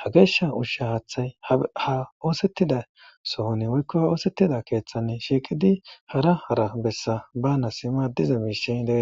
ha geeshsha ushsha haaththay ha oosettida sohoni woykko h oosettida keeththann shiiqidi hara hara bessa bana sima diza miishey dee